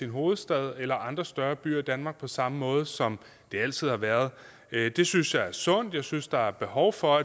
hovedstad eller andre større byer i danmark på samme måde som det altid har været det synes jeg er sundt jeg synes der er behov for